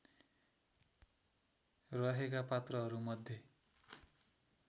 रहेका पात्रहरूमध्ये